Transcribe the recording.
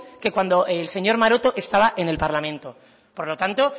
que cuando el señor maroto estaba en el parlamento por lo tanto